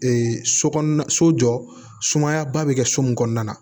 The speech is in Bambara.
so kɔnɔna so jɔ sumayaba bɛ kɛ so mun kɔnɔna na